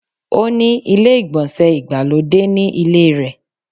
Ó ni ilé-ìgbọ̀nsẹ̀ ìgbàlódé ni ilé rẹ